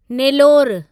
Nellore